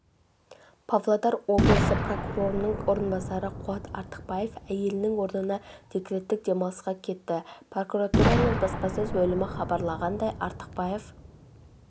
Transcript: павлодар облысы прокурорының орынбасары қуат артықбаев әйелінің орнына декреттік демалысқа кетті прокуратураның баспасөз бөлімі хабарлағандай артықбаев